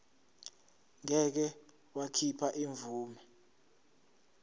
ngeke wakhipha imvume